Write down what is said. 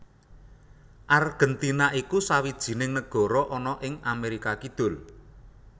Argèntina iku sawijining nagara ana ing Amérika Kidul